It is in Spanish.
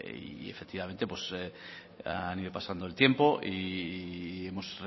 ha ido pasando el tiempo y hemos